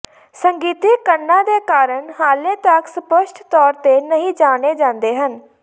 ਸੰਗੀਤਿਕ ਕੰਨਾਂ ਦੇ ਕਾਰਨ ਹਾਲੇ ਤੱਕ ਸਪਸ਼ਟ ਤੌਰ ਤੇ ਨਹੀਂ ਜਾਣੇ ਜਾਂਦੇ ਹਨ